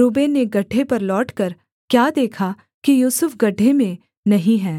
Reuben ने गड्ढे पर लौटकर क्या देखा कि यूसुफ गड्ढे में नहीं है